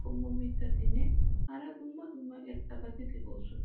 qommo mitattinne hara dumma dumma irxxabati de'oosona.